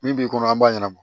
Bi bi in kɔnɔ an b'a ɲana